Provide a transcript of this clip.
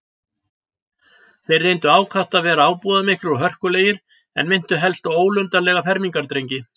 Þeir reyndu ákaft að vera ábúðarmiklir og hörkulegir, en minntu helst á ólundarlega fermingardrengi.